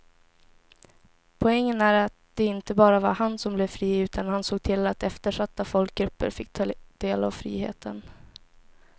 Poängen är att det inte bara var han som blev fri utan han såg till att eftersatta folkgrupper fick ta del av friheten.